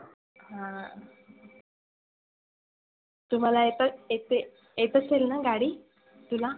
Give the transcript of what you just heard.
हं. तुम्हाला येतात येते? येत असेल ना गाडी? तुला